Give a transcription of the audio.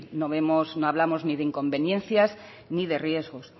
no vemos no hablamos de inconveniencias ni de riesgos